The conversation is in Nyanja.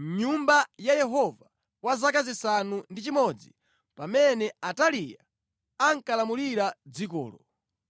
mʼnyumba ya Yehova kwa zaka zisanu ndi chimodzi pamene Ataliya ankalamulira dzikolo.